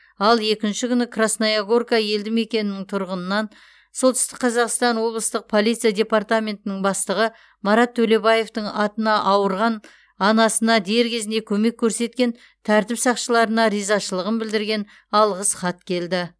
ал екінші күні красная горка елдімекенінің тұрғынынан солтүстік қазақстан облыстық полиция департаментінің бастығы марат төлебаевтың атына ауырған анасына дер кезінде көмек көрсеткен тәртіп сақшыларына ризашылығын білдірген алғыс хат келді